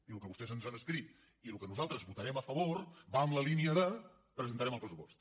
i el que vostès ens han escrit i el que nosaltres votarem a favor va en la línia de presentarem el pres·supost